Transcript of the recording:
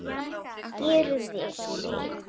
Gyrðir sig.